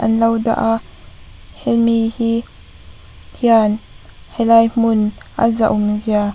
an lo dah a hemi hi hian helai hmun a zahawm zia --